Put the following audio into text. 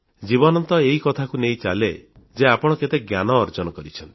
ଜୀବନ ତ ଏ କଥାକୁ ନେଇ ଚାଲେ ଯେ ଆପଣ କେତେ ଜ୍ଞାନ ଅର୍ଜନ କରିଛନ୍ତି